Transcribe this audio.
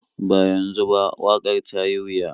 Ba yanzu ba, waƙar ta yi wuya.